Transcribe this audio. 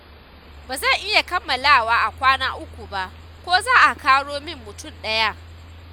Ba zan iya kammalawa a kwana uku ba, ko za a ƙaro min mutum ɗaya?